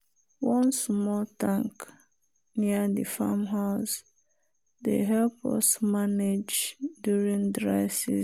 one small tank near the farm house dey help us manage during dry season.